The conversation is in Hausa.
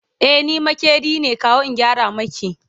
e ni maƙeri ne kawo in gyara maki